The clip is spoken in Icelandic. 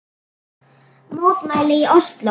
Mótmæli í Osló